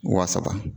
Wa saba